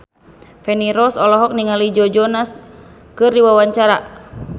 Feni Rose olohok ningali Joe Jonas keur diwawancara